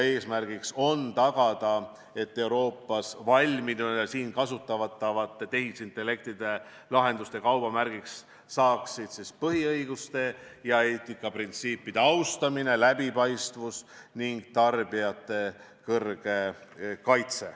Eesmärk on tagada, et Euroopas valminud ja siin kasutatavate tehisintellektilahenduste kaubamärgiks saaksid põhiõiguste ja eetikaprintsiipide austamine, läbipaistvus ning tarbijate tugev kaitse.